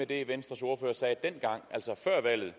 det venstres ordfører sagde dengang altså før valget